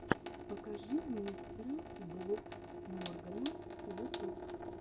покажи мистера болд моргана ютуб